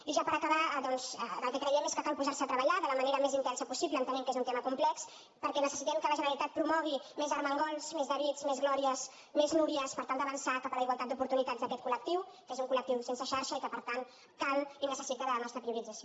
i ja per acabar doncs el que creiem és que cal posarse a treballar de la manera més intensa possible entenent que és un tema complex perquè necessitem que la generalitat promogui més armengols més davids més glòries més núries per tal d’avançar cap a la igualtat d’oportunitats d’aquest col·lectiu que és un col·lectiu sense xarxa i que per tant cal i necessita de la nostra priorització